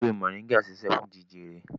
Ewé moringa ń ṣiṣẹ́ fún jẹjẹrẹ